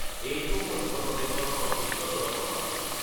এইটো মধ্যপ্ৰদেশৰ সৰ্বোচ্চ জলপ্ৰপাত।